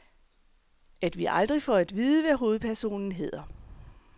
At vi aldrig får at vide, hvad hovedpersonen hedder.